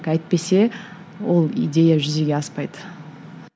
әйтпесе ол идея жүзеге аспайды